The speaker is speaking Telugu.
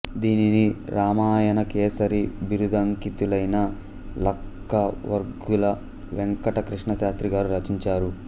దీనిని రామయణ కేసరి బిరుదాంకితులైన లక్కావఝ్ఝల వెంకట కృష్ణశాస్త్రి గారు రచించారు